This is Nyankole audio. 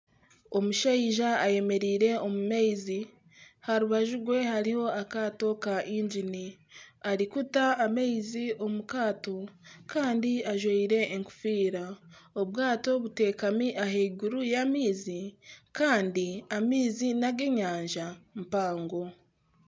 Omushaija ayemereire omu maizi aha rubaju rwe hariho akaato ka ingini naata amaizi omu kaato kandi ajwaire enkofiira obwato buteekami ahaiguru y'amaizi kandi amaizi nag'enyanja y'amaizi.